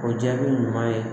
O jaabi ɲuman ye